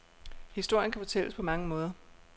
Historien kan fortælles på mange måder.